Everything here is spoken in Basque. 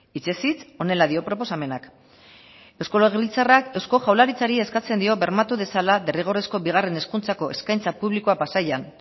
hitzez hitz honela dio proposamenak eusko legebiltzarrak eusko jaurlaritzari eskatzen dio bermatu dezala derrigorrezko bigarren hezkuntzako eskaintza publikoa pasaian